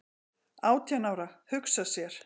"""Átján ára, hugsa sér!"""